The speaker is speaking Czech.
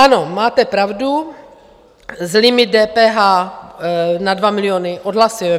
Ano, máte pravdu, limit DPH na 2 miliony odhlasujeme.